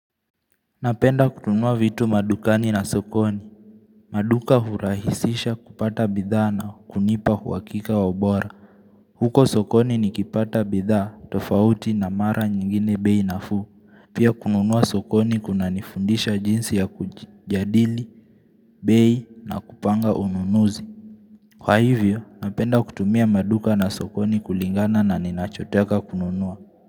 Napenda kununua vitu madukani na sokoni. Maduka hurahisisha kupata bidhaa na hunipa uhakika wa ubora. Huko sokoni nikipata bidhaa, tofauti na mara nyingine bei nafuu. Pia kununua sokoni kunanifundisha jinsi ya kujadili, bei na kupanga ununuzi. Kwa hivyo, napenda kutumia maduka na sokoni kulingana na ninachotaka kununua.